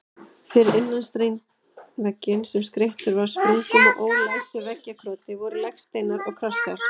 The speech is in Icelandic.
Fyrir innan steinvegginn, sem skreyttur var sprungum og ólæsilegu veggjakroti, voru legsteinar og krossar.